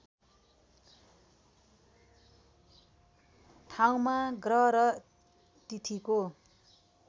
ठाउँमा ग्रह र तिथिको